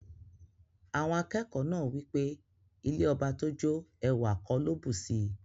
Awon akeko naa wipe ilẹ̀ ọbà tó jó, èwà kò ló bùṣí.